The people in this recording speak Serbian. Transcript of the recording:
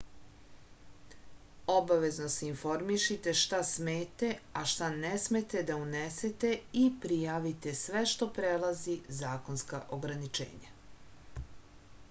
obavezno se informišite šta smete a šta ne smete da unesete i prijavite sve što prelazi zakonska ograničenja